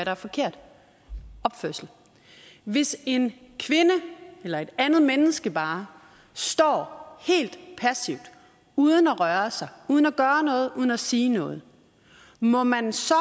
er forkert opførsel hvis en kvinde eller et andet menneske bare står helt passivt uden at røre sig uden at gøre noget uden at sige noget må man så